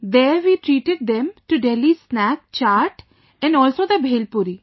There we treated them to Delhi's snack 'Chaat' & also the Bhelpuri